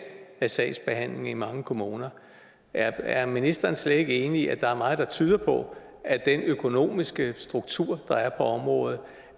af sagsbehandlingen i mange kommuner er ministeren slet ikke enig i at der er meget der tyder på at den økonomiske struktur der er på området